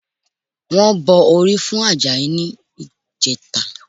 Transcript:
Wọ́n bọ orí fún Àjàyí ní ìjẹta